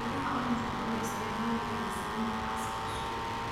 Midhaha oranji waxaa loo isticmaali karaa sameynta casiir cusub.